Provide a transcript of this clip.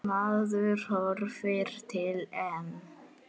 Maður horfir til EM.